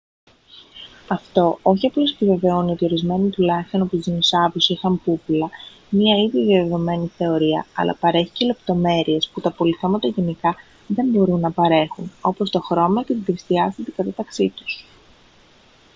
αυτό όχι απλώς επιβεβαιώνει ότι ορισμένοι τουλάχιστον από τους δεινοσαύρους είχαν πούπουλα μια ήδη διαδεδομένη θεωρία αλλά παρέχει και λεπτομέρειες που τα απολιθώματα γενικά δεν μπορούν να παρέχουν όπως το χρώμα και την τρισδιάστατη διάταξή τους